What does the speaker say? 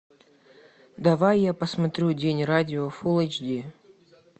давай я посмотрю день радио фул эйч ди